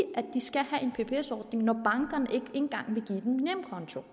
at en pbs ordning når bankerne ikke engang vil give dem en nemkonto